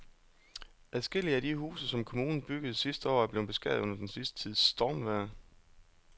Adskillige af de huse, som kommunen byggede sidste år, er blevet beskadiget under den sidste tids stormvejr.